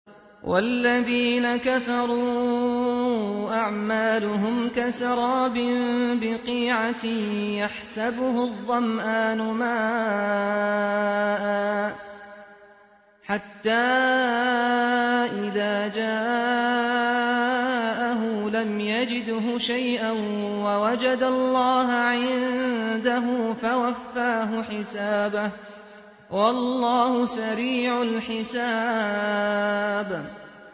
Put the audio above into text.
وَالَّذِينَ كَفَرُوا أَعْمَالُهُمْ كَسَرَابٍ بِقِيعَةٍ يَحْسَبُهُ الظَّمْآنُ مَاءً حَتَّىٰ إِذَا جَاءَهُ لَمْ يَجِدْهُ شَيْئًا وَوَجَدَ اللَّهَ عِندَهُ فَوَفَّاهُ حِسَابَهُ ۗ وَاللَّهُ سَرِيعُ الْحِسَابِ